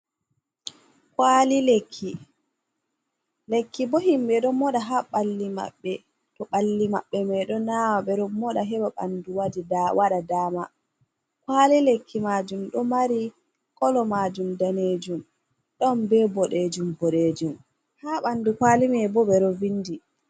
Kwali lekki, lekki bo himbeo ɗon moɗa ha balli maɓɓe to ɓalli maɓɓe mai ɗo nawa, ɓe ɗon moɗa heɓa ɓanɗu waɗa dama, kwali lekki majum ɗo mari kolo majum danejum, don be boɗejum boɗejum ha ɓandu kwali me bo ɓe ɗo vindi.